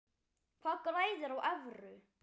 Hver græðir á evru?